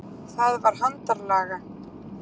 Það var handarlaga.